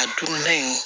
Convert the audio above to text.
A donda in